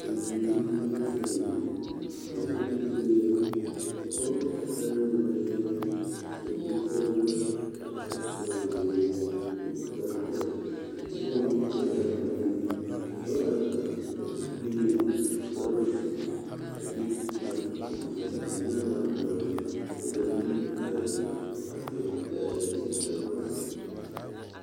Bibiiri la zeŋ ba zeŋ la teŋɛ ka pɔɡe kaŋa are dendeŋe a seɛ kursɔɔlaa ka a pare toɔne ziiri ka o su kparpelaa ka o teɛnɛ o nu kyaara a bibiiri ka dɔɔ are a o puliŋ a su kparoo a de kparoo ka a nyaa doɔre kyɛ ka yiri are ka dɔɔ pile a kyɛnsere ka a waa zeɛ.